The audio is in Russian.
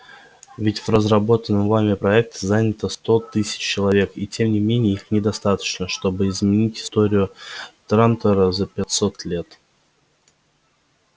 ведь в разработанном вами проекте занято сто тысяч человек и тем не менее их недостаточно чтобы изменить историю трантора за пятьсот лет